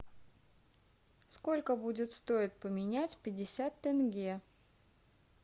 сколько будет стоить поменять пятьдесят тенге